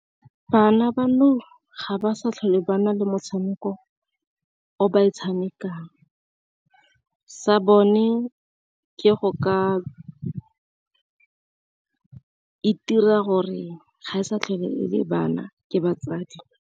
Bana ba nou ga ba sa tlhole ba na le motshameko o ba e tshamekang, sa bone ke go ka itira gore ga e sa tlhole e le bana ke batsadi.